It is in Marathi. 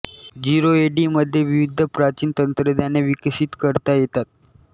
झीरो ए डी मध्ये विविध प्राचीन तंत्रज्ञाने विकसित करता येतात